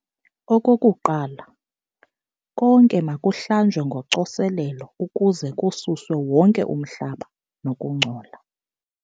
Okokuqala, konke makuhlanjwe ngocoselelo ukuze kususwe wonke umhlaba nokungcola.